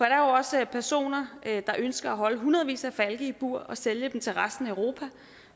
er jo også personer der ønsker at holde hundredvis af falke i bur og sælge dem til resten af europa